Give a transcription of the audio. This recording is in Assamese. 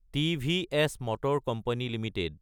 TVS motor company Ltd